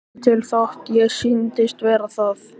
Væri ekki til þótt ég sýndist vera það.